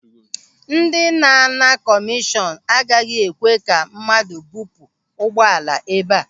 Ndị na-ana kọmishọn agaghị ekwe ka mmadụ bupu ụgbọala ebe a.